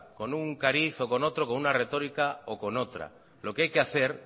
con un cariz o con otro con una retórica o con otra lo que hay que hacer